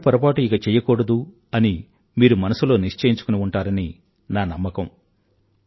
ఇలాంటి పొరపాటు ఇక చెయ్యకూడదు అని మీరు మనసులో నిశ్చయించుకుని ఉంటారని నా నమ్మకం